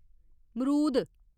मरूद